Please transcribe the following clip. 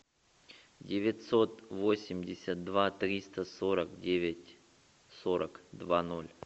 девятьсот восемьдесят два триста сорок девять сорок два ноль